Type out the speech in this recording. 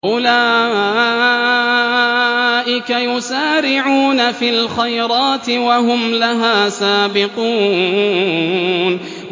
أُولَٰئِكَ يُسَارِعُونَ فِي الْخَيْرَاتِ وَهُمْ لَهَا سَابِقُونَ